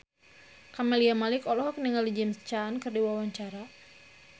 Camelia Malik olohok ningali James Caan keur diwawancara